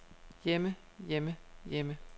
hjemme hjemme hjemme